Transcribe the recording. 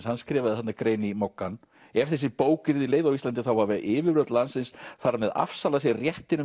hann skrifar þarna grein í Moggann ef þessi bók verður leyfð á Íslandi þá hafa yfirvöld landsins þar með afsalað sér réttinum